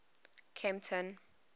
kempton